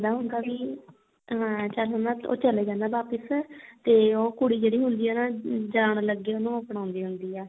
ਕਹਿੰਦਾ ਹੁੰਦਾ ਵੀ ਹਾਂ ਚੱਲ ਹੁਣ ਉਹ ਚਲਾ ਜਾਂਦਾ ਵਾਪਿਸ ਤੇ ਉਹ ਕੁੜੀ ਜਿਹੜੀ ਹੁੰਦੀ ਏ ਨਾ ਜਾਣ ਲੱਗੇ ਉਹਨੂੰ ਅਪਣਾਉਂਦੀ ਹੁੰਦੀ ਆ